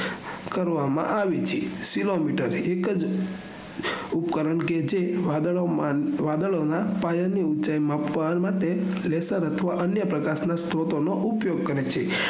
કરવામાં આવે છે cielometer એકજ ઉપકરણ જે વાદળોમાં પાયાની ઉચાઇ માપવા માટે લેસર અથવા અન્ય પ્રકાશ ના સ્રોત ઉપયોગ કરે છે